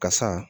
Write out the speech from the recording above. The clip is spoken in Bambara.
Ka san